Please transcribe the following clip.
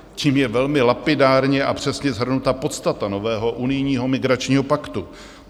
Tím je velmi lapidárně a přesně shrnuta podstata nového unijního migračního paktu.